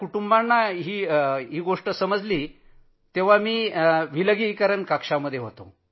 कुटुंबियांना तर प्रथम जेव्हा समजलं तेव्हा मी विलगीकरण कक्षात होतो